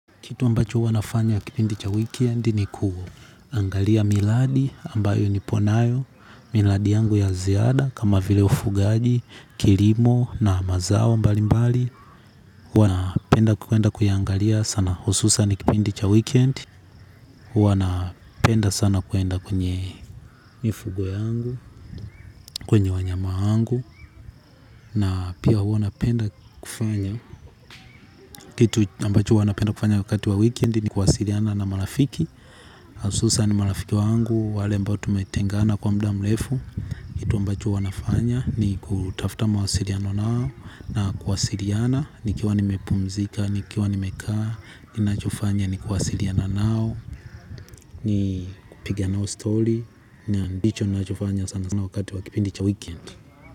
Kitu ambacho huwa nafanya kipindi cha weekend ni kuangalia miladi ambayo nipo nayo, miladi yangu ya ziada kama vile ufugaji, kilimo na mazao mbali mbali. Huwa napenda kuenda kuiangalia sana hususan kipindi cha weekend huwa napenda sana kuenda kwenye mifugo yangu kwenye wanyama wangu na pia huwa napenda kufanya. Kitu ambacho huwa napenda kufanya wakati wa weekend ni kuwasiliana na marafiki. Asusan marafiki wangu, wale ambao tumetengana kwa mda mlefu. Kitu ambacho huwa nafanya ni kutafta mawasiriano nao. Na kuwasiliana, nikiwa nimepumzika, nikiwa nimekaa. Ninachofanya ni kuwasiliana nao, ni kupiga nao story. Ndicho ninachofanya sana sana wakati wa kipindi cha weekend.